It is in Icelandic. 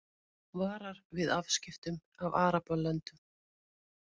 Varar við afskiptum af Arabalöndum